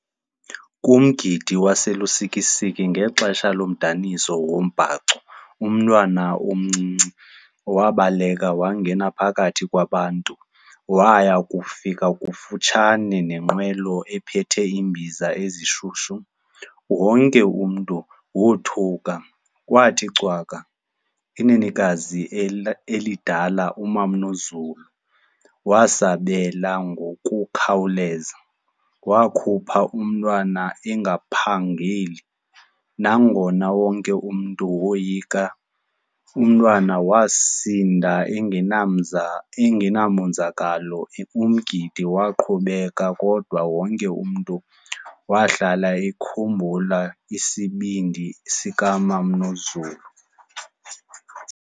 Kumgidi waseLusikisiki ngexesha lomdaniso wombhaco, umntwana omncinci wabaleka wangena phakathi kwabantu waya kufika kufutshane nenqwelo ephethe iimbiza ezishushu. Wonke umntu wothuka kwathi cwaka. Inenekazi elidala umama uNozulu wasabela ngokukhawuleza. Wakhupha umntwana engaphangeli, nangona wonke umntu woyika. Umntwana wasindwa engenamonzakalo, umgidi waqhubeka. Kodwa wonke umntu wahlala ekhumbula isibindi sikamama uNozulu.